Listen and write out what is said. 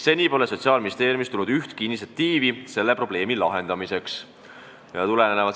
Seni pole Sotsiaalministeeriumist tulnud ühtki initsiatiivi selle probleemi lahendamiseks.